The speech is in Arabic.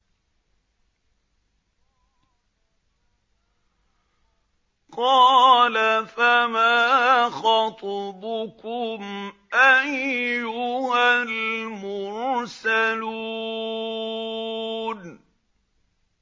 قَالَ فَمَا خَطْبُكُمْ أَيُّهَا الْمُرْسَلُونَ